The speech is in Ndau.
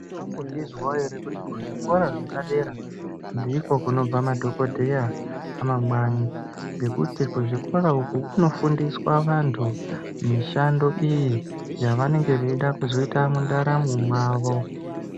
Makambozvizwa ere kuti kuzvikora zvepadera dera ndiko kunobva madhogodheya amangwani ngekuti kuzvikora uku kunofundiswa antu mishando iyi yavanenge vaida kuzoita mundaramo mwavo.